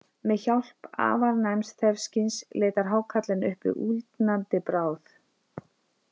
Með hjálp afar næms þefskyns leitar hákarlinn uppi úldnandi bráð.